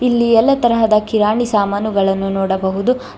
ಇಲ್ಲಿ ಎಲ್ಲ ತರಹದ ಕಿರಾಣಿ ಸಾಮಾನುಗಳನ್ನು ನೋಡಬಹುದು ಹಾಗೂ.